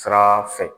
Sira fɛ